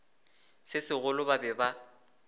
se segolo ba be ba